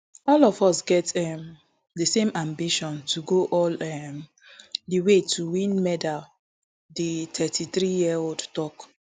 all of us get um di same ambition to go all um di way to win medal di thirty-threeyearold tok